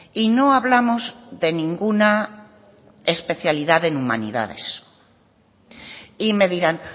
y no hablamos de ninguna especialidad en humanidades y me dirán